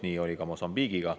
Nii oli ka Mosambiigiga.